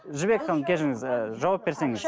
жібек ханым кешіріңіз ыыы жауап берсеңіз